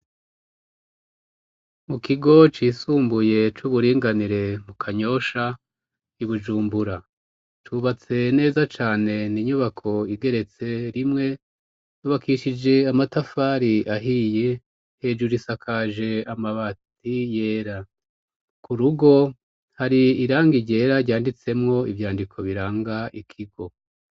Mu kigo c'isumbuye c'uburinganire mu Kanyosha i Bujumbura cubatse neza cane n'inyubako igeretse rimwe yubakishije amatafari ahiye hejuru isakaje amabati yera ku rugo hari irangi ryera ryanditsemo ivyandiko biranga ikigo.